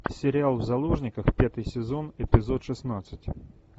сериал в заложниках пятый сезон эпизод шестнадцать